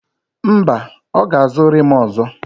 Mba, ọ ga-azụ rịmu ọzọ.